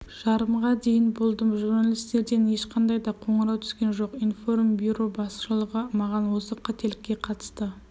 жарымға дейін болдым журналистерден ешқандай да қоңырау түскен жоқ информбюро басшылығы маған осы қателікке қатысты